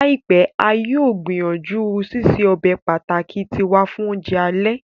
Laipẹ, a yóò gbìyànjú ṣiṣe ọbe pàtàki tiwa fun ounjẹ alẹ.